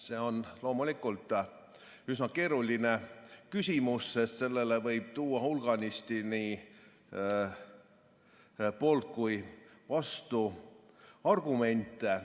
See on loomulikult üsna keeruline küsimus, sest sellele võib tuua hulganisti nii poolt- kui ka vastuargumente.